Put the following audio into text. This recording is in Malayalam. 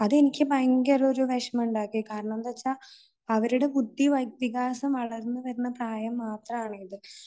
അത് എനിക്ക് ഒരു ഭയങ്കര വിഷമമുണ്ടാക്കി. കാരണം എന്തെന്ന് വച്ചാൽ അവരുടെ ബുദ്ധിവികാസം വളർന്നുവരുന്ന പ്രായം മാത്രമാണ് ഇത്